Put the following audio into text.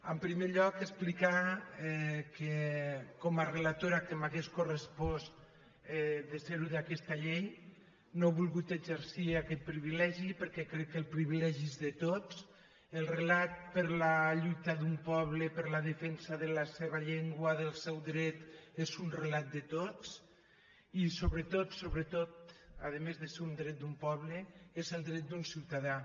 en primer lloc explicar que com a relatora que m’hauria correspost de ser·ho d’aquesta llei no he vol·gut exercir aquest privilegi perquè crec que el privi·legi és de tots el relat de la lluita d’un poble per la defensa de la seva llengua del seu dret és un relat de tots i sobretot sobretot a més de ser un dret d’un poble és el dret d’un ciutadà